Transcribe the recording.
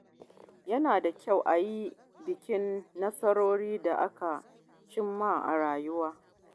Yana da kyau a yi bikin nasarorin da aka cimma a rayuwa.